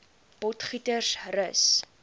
potgietersrus